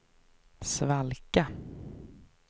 svalka